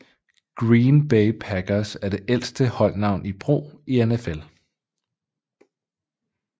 Green Bay Packers er det ældste holdnavn i brug i NFL